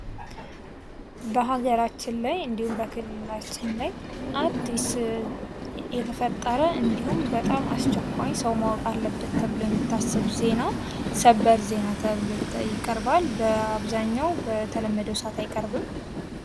በሀገራችን ላይ እንዲሁም እንዲሁም በክልላችን ላይ አዲስ የተፈጠ እንዲሁም በጣም አስቸኳይ ሰው ማወቅ አለበት ተብሎ የምታሰብ ዜና ሰበር ዜና ተብሎ ይቀርባል:: በአብዛኛው በተለመደው ሰዓት አይቀርብም ::